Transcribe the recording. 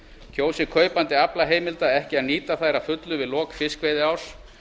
kjósi kaupandi aflaheimilda ekki að nýta þær að fullu við lok fiskveiðiárs